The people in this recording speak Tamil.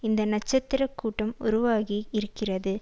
இந்த நட்சத்திர கூட்டம் உருவாகி இருக்கிறது